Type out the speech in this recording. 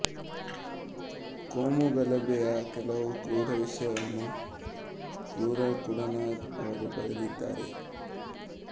ಕೋಮು ಗಲಭೆಯ ಕೆಲವು ಕ್ರೂರ ವಿಷಯವನ್ನು ಬಗ್ಗೆ ಕೂಡ ನಾಗ್ ಅವರು ಬರೆದಿದ್ದಾರೆ